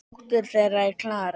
Dóttir þeirra er Klara.